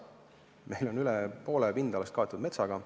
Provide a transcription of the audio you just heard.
Meil on üle poole pindalast kaetud metsaga.